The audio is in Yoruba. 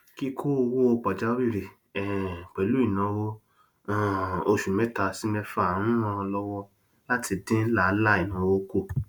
kíkó owó pajawìrì um pẹlú ináwó um oṣù mẹta sí mẹfà ń ràn lọwọ láti dín làálàá ináwó kù